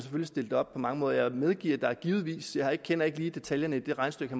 stille det op på mange måder jeg medgiver at der givetvis er jeg kender ikke lige detaljerne i det regnestykke